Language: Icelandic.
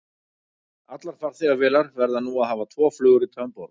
Allar farþegavélar verða nú að hafa tvo flugrita um borð.